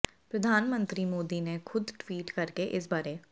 ਪ੍ਰਧਾਨ ਮੰਤਰੀ ਮੋਦੀ ਨੇ ਖ਼ੁਦ ਟਵੀਟ ਕਰਕੇ ਇਸ ਬਾਰੇ